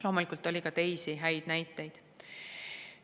Loomulikult on ka teisi häid näiteid.